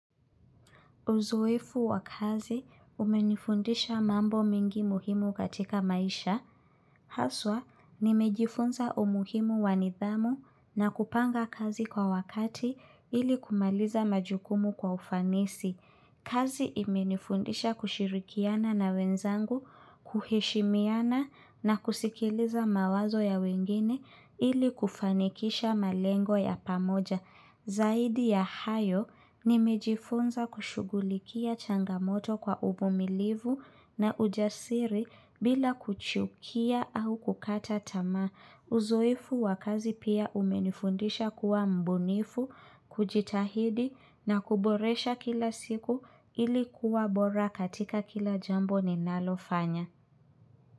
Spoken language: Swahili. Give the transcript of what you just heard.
Uzoefu wa kazi umenifundisha mambo mingi muhimu katika maisha. Haswa, nimejifunza umuhimu wa nidhamu na kupanga kazi kwa wakati ili kumaliza majukumu kwa ufanisi. Kazi imenifundisha kushirikiana na wenzangu, kuheshimiana na kusikiliza mawazo ya wengine ili kufanikisha malengo ya pamoja. Zaidi ya hayo nimejifunza kushugulikia changamoto kwa uvumilivu na ujasiri bila kuchukia au kukata tamaa. Uzoefu wa kazi pia umenifundisha kuwa mbunifu, kujitahidi na kuboresha kila siku ili kuwa bora katika kila jambo ninalofanya.